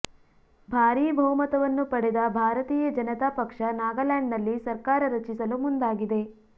ಭಾರೀ ಬಹುಮತವನ್ನು ಪಡೆದ ಭಾರತೀಯ ಜನತಾ ಪಕ್ಷ ನಾಗಾಲ್ಯಾಂಡ್ನಲ್ಲಿ ಸರ್ಕಾರ ರಚಿಸಲು ಮುಂದಾಗಿದೆ